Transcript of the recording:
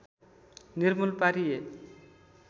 निर्मूल पारिए